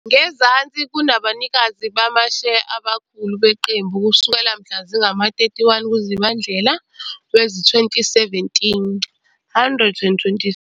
Ngezansi kunabanikazi bamasheya abakhulu beqembu kusukela mhla zingama-31 kuZibandlela wezi-2017- 120.